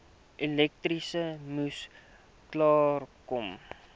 elektrisiteit moes klaarkom